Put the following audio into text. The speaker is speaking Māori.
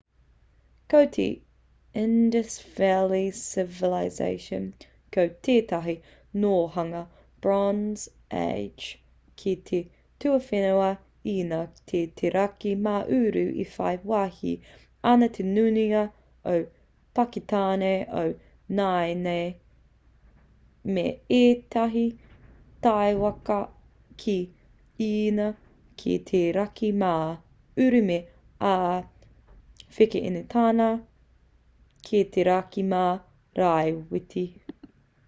ko te indus valley civilization ko tētahi nōhanga bronze age ki te tuawhenua īnia ki te raki mā uru e whai wāhi ana te nuinga o pakitāne o nāianei me ētahi takiwā ki īnia ki te raki mā uru me āwhekenetāna ki te raki mā rāwhiti